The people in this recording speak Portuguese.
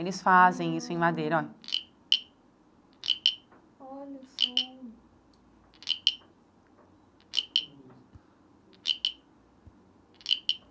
Eles fazem isso hum em madeira ó olha só.